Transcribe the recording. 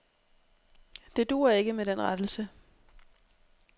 Det duer ikke med den rettelse.